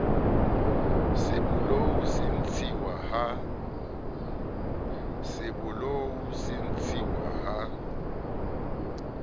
se bolou se ntshiwa ha